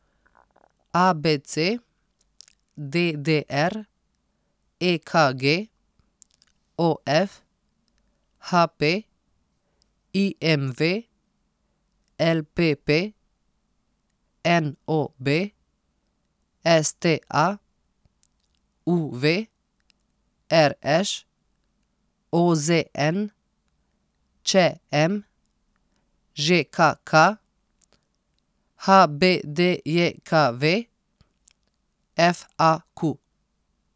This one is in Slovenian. A B C; D D R; E K G; O F; H P; I M V; L P P; N O B; S T A; U V; R Š; O Z N; Č M; Ž K K; H B D J K V; F A Q.